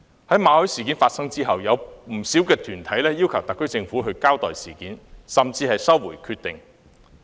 在馬凱事件發生後，有不少團體要求特區政府交代事件，甚至收回決定。